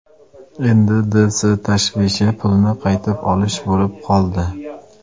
Endi D. S. tashvishi pulni qaytib olish bo‘lib qoldi.